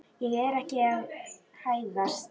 Ég er ekki að hæðast.